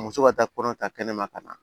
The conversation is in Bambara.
Muso ka taa kɔnɔ ta kɛnɛ ma ka na